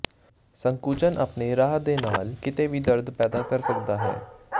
ਸੰਕੁਚਨ ਆਪਣੇ ਰਾਹ ਦੇ ਨਾਲ ਕਿਤੇ ਵੀ ਦਰਦ ਪੈਦਾ ਕਰ ਸਕਦਾ ਹੈ